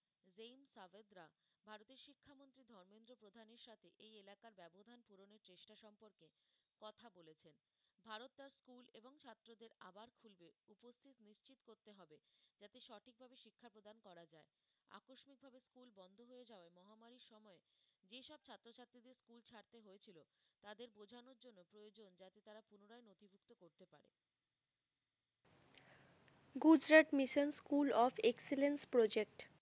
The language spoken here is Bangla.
Gujarat mission school of excellence project.